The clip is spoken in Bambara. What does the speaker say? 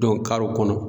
karew kɔnɔ